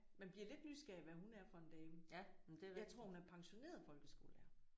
Man bliver lidt nysgerrig hvad hun er for en dame. Jeg tror hun er pensioneret folkeskolelærer